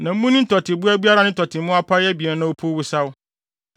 Na munni tɔteboa biara a ne tɔte mu apae abien na opuw wosaw.